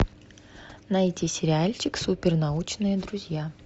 найти сериальчик супер научные друзья